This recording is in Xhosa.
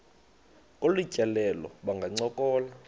kolu tyelelo bangancokola